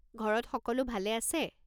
ঘৰত সকলো ভালে আছে?